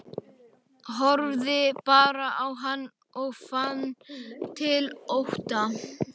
Horfði bara á hann og fann til ótta.